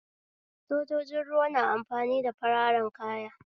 Sojojin ruwa na amfani da fararen kaya